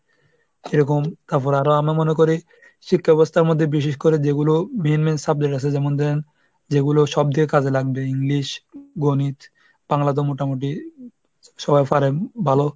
সেরকম, তারপরে আরো আমরা মনে করি শিক্ষা ব্যবস্থার মধ্যে বিশেষ করে যেগুলো main main subject আছে, যেমন ধরেন যেগুলো সব দিকে কাজে লাগবে english, গণিত, বাংলা তো মোটামুটি সবাই পারেন ভালো.